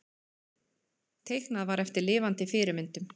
Teiknað var eftir lifandi fyrirmyndum.